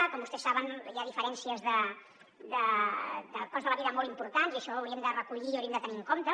com vostès saben hi ha diferències de cost de la vida molt importants i això ho hauríem de recollir o ho hauríem de tenir en compte